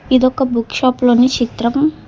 ఇదొక book shop లోని చిత్రం.